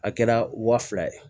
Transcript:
A kɛra wa fila ye